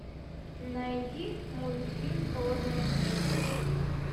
найди мультфильм холодное сердце